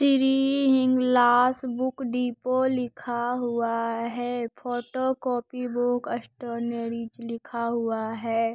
Shri Hinglaj book depot लिखा हुआ है फोटोकॉपी बुक स्टेशनरीज लिखा हुआ है।